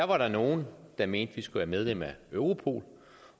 var der nogle der mente at vi skulle være medlem af europol